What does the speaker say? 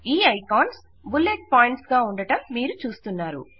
ఈ icons bullet points గా ఉండడం మీరు చూస్తున్నారు